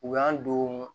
U y'an don